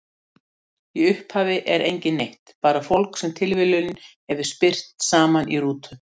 Í upphafi er enginn neitt, bara fólk sem tilviljunin hefur spyrt saman í rútu.